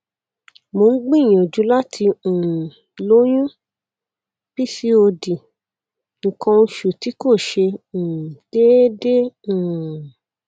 mo ń gbìyànjú láti um lóyún pcod nǹkan oṣù tí kò ṣe um déédéé um